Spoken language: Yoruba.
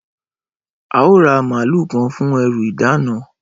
Ẹ óò ra màlúù kan fún ẹrù ìdána!